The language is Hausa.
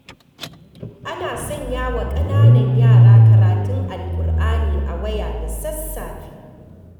Ana sanyawa ƙananan yara karatun Alkur'ani a waya da sassafe.